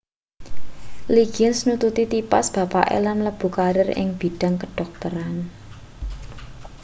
liggins nututi tipas bapake lan mlebu karir ing bidhang kedhokteran